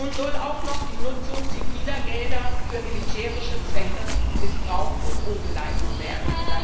Nun soll auch noch die Nutzung ziviler Gelder für militärische Zwecke missbraucht und umgeleitet werden.